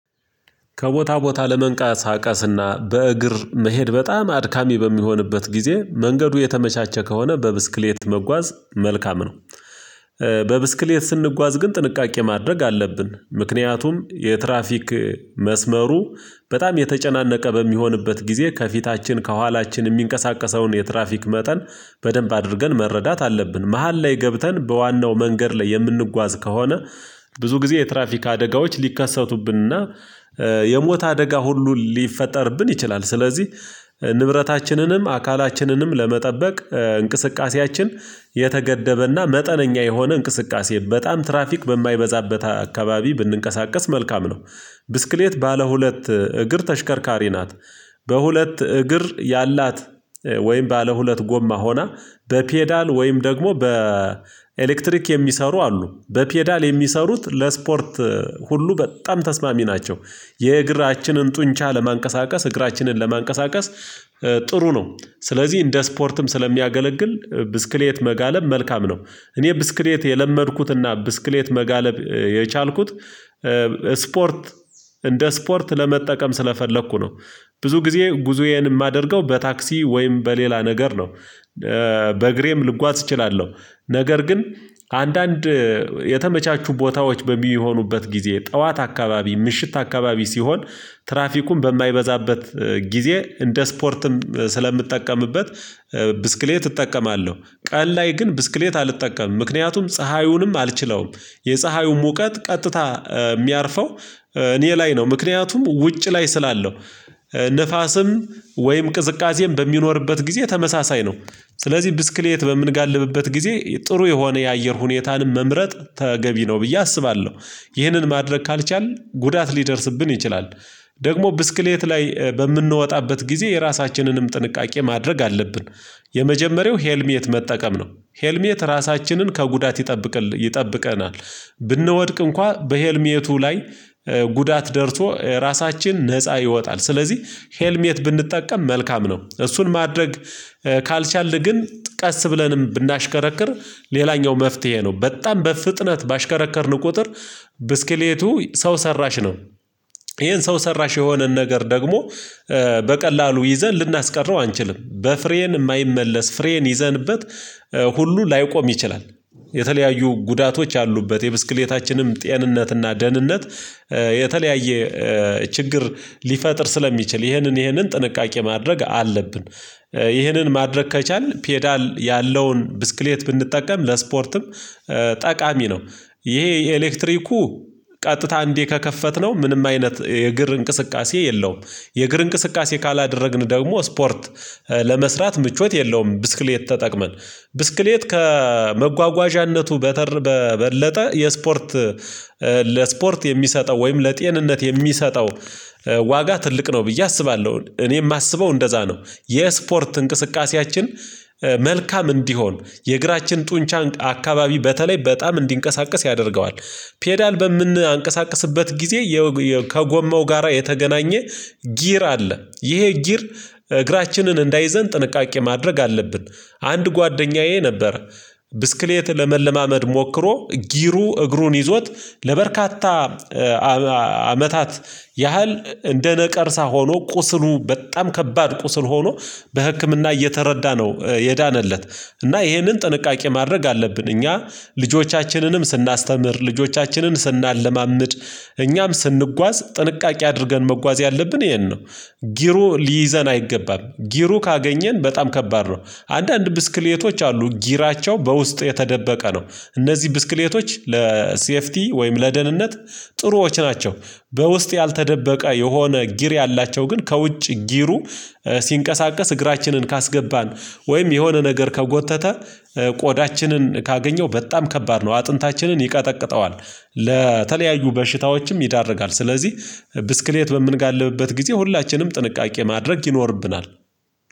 ከቦታ ቦታ ለመንቃሳቀስና በእግር መሄድ በጣም አድካሚ በሚሆንበት ጊዜ መንገዱ የተመቻቸ ከሆነ በብስክሌት መጓዝ መልካም ነው። በብስክሌት ስንጓዝ ግን ጥንቃቄ ማድረግ አለብን ምክንያቱም የትራፊክ መስመሩ በጣም የተጨናነቀ በሚሆንበት ጊዜ ከፊታችን ከኋላችን የሚንቀሳቀሰውን የትራፊክ መጠን በደንብ አድርገን መረዳት አለብን። መሃል ላይ ገብተን በዋናው መንገድ ላይ የምንጓዝ ከሆነ ብዙ ጊዜ የትራፊክ አደጋዎች ሊከሰቱብንና የሞት አደጋ ሁሉ ሊፈጠርብን ይችላል። ስለዚህ ንብረታችንንም፣ አካላችንንም ለመጠበቅ እንቅስቃሴያችን የተገደበና መጠነኛ የሆነ እንቅስቃሴ በጣም ትራፊክ በማይበዛበት አካባቢ ብንንቀሳቀስ መልካም ነው። ብስክሌት ባለ ሁለት እግር ተሽከርካሪ ናት በሁለት እግር ያላት ወይም ባለ ሁለት ጎማ ሆና በፔዳል ወይም ደግሞ በኤሌክትሪክ የሚሰሩ አሉ በፔዳል የሚሰሩት ለስፖርት ሁሉ በጣም ተስማሚ ናቸው የእግራችንን ጡንቻ ለማንቀሳቀስ እግራችንን ለማንቀሳቀስ ጥሩ ነው ስለዚህ እንደ ስፖርትም ስለሚያገለግል ብስክሌት መጋለብ መልካም ነው። እኔ ብስክሌት የለመድኩትና ብስክሌት መጋለብ የቻልኩት ስፖርት እንደ ስፖርት ለመጠቀም ስለፈለኩ ነው። ብዙ ጊዜ ጉዞዬን የማደርገው በታክሲ ወይም በሌላ ነገር ነው። በእግሬም ልጓዝ እችላለሁ ነገር ግን አንዳንድ የተመቻቹ ቦታዎች በሚሆኑበት ጊዜ ጠዋት አካባቢ ምሽት አካባቢ ሲሆን ትራፊኩን በማይበዛበት ጊዜ እንደ ስፖርትም ስለምትጠቀምበት ብስክሌት እጠቀማለሁ ቀን ላይ ግን ብስክሌት አልጠቀምም ምክንያቱም ፀሀዩንም አልችለውም የፀሀዩ ሙቀት ቀጥታ የሚያርፈው እኔ ላይ ነው ምክንያቱም ውጭ ላይ ስላለው ንፋስም ወይም ቅዝቃዜም በሚኖርበት ጊዜ ተመሳሳይ ነው ስለዚህ ብስክሌት በምንጋልብበት ጊዜ ጥሩ የሆነ የአየር ሁኔታንም መምረጥ ተገቢ ነው ብዬ አስባለሁ ይህንን ማድረግ ካልቻልን ጉዳት ሊደርስብን ይችላል። ደግሞ ብስክሌት ላይ በምንወጣበት ጊዜ የራሳችንንም ጥንቃቄ ማድረግ አለብን። የመጀመሪያው ሄልሚ ሄልሚየት መጠቀም ነው። ሄልሚየት ራሳችንን ከጉዳት ይጠብቅ ይጠብቀናል። ብንወድቅ እንኳን በሄልሚየቱ ላይ ጉዳት ደርሶ ራሳችን ነፃ ይወጣ። ስለዚህ ሄልሚየት ብንጠቀም መልካም ነው። እሱን ማድረግ ካልቻልን ግን ቀስ ብለንም ብናሽከረክር ሌላኛው መፍትሄ ነው። በጣም በፍጥነት ባሽከረከርን ቁጥር ብስክሌቱ ሰው ሰራሽ ነው። ይሄን ሰው ሰራሽ የሆነን ነገር ደግሞ በቀላሉ ይዘን ልናስቀረው አንችልም። በፍሬን የማይመለስ ፍሬን ይዘንበት ሁሉ ላይቆም ይችላል። የተለያዩ ጉዳቶች አሉበት የብስክሌታችንም ጤንነትና ደህንነት የተለያየ ችግር ሊፈጥር ስለሚችል ይህንን ይህንን ጥንቃቄ ማድረግ አለብን። ይህንን ማድረግ ከቻልን ፔዳል ያለውን ብስክሌት ብንጠቀም ለስፖርትም ጠቃሚ ነው። ይሄ የኤሌክትሪኩ ቀጥታ እንዲህ ከከፈትነው ምንም አይነት የእግር እንቅስቃሴ የለውም። የእግር እንቅስቃሴ ካላደረግን ደግሞ ስፖርት ለመስራት ምቾት የለውም። ብስክሌት ተጠቅመን ብስክሌት ከመጓጓዣነቱ በተር በበለጠ የስፖርት ለስፖርት የሚሰጠው ወይም ለጤንነት የሚሰጠው ዋጋ ትልቅ ነው ብዬ አስባለሁ። እኔ የማስበው እንደዛ ነው የስፖርት እንቅስቃሴያችን መልካም እንዲሆን የእግራችን ጡንቻን አካባቢ በተለይ በጣም እንዲንቀሳቀስ ያደርገዋል። ፔዳል በምን አንቀሳቀስበት ጊዜ የውየ ከጎማው ጋራ የተገናኘ ጊር አለ ይሄ ጊር እግራችንን እንዳይዘን ጥንቃቄ ማድረግ አለብን። አንድ ጓደኛዬ ነበር ብስክሌት ለመለማመድ ሞክሮ ጊሩ እግሩን ይዞት ለበርካታ አመታት ያህል እንደ ነቀርሳ ሆኖ ቁስሉ በጣም ከባድ ቁስል ሆኖ በህክምና እየተረዳነው የዳነለት እና ይሄንን ጥንቃቄ ማድረግ አለብ። እኛ ልጆቻችንንም ስናስተምር፣ ልጆቻችንን ስናለማምጥ፣ እኛም ስንጓዝ ጥንቃቄ አድርገን መጓዝ ያለብን። ይሄን ነው ጊሩ ሊይዘን አይገባም ጊሩ ካገኘን በጣም ከባድ ነው አንዳንድ ብስክሌቶች አሉ ጊራቸው በውስጥ የተደበቀ ነው እነዚህ ብስክሌቶች ለሴፍቲ ወይም ለደህንነት ጥሩዎች ናቸው በውስጥ ያልተደበቀ የሆነ ጊር ያላቸው ግን ከውጭ ጊሩ ሲንቀሳቀስ እግራችንን ካስገባን ወይም የሆነ ነገር ከጎተተ ቆዳችንን ካገኘው በጣም ከባድ ነው። አጥንታችንን ይቀጠቅጠዋል። ለተለያዩ በሽታዎችም ይዳርጋል። ስለዚህ ብስክሌት በምንጋልብበት ጊዜ ሁላችንም ጥንቃቄ ማድረግ ይኖርብናል።